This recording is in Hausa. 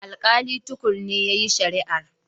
Alƙali Tukur ne yayi shari'ar.